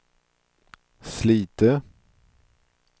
Slite